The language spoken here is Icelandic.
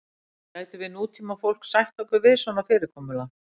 gætum við nútímafólk sætt okkur við svona fyrirkomulag